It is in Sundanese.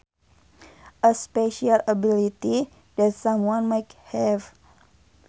A special ability that someone might have